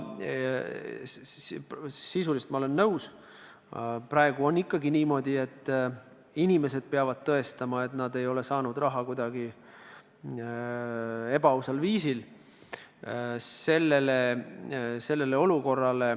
Sisuliselt olen ma nõus, et praegu on ikkagi niimoodi, et inimesed peavad tõestama, et nad ei ole saanud raha kuidagi ebaausal viisil.